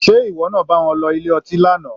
Sé ìwọ náà bá wọn lọ ilé ọtí lánàá?